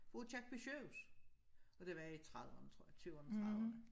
Aakirkeby sygehus og det har været i trediverne tror jeg tyverne trediverne